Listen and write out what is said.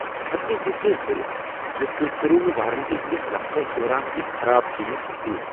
بہٕ ہیٚکہٕ نہٕ یقین کٔرتھ ز تُہۍ کٔرِو نہٕ وارنٹی ہٕنٛدس وقتس دوران یہ خراب چیز تبدیل۔